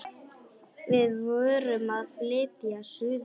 Við vorum að flytja suður.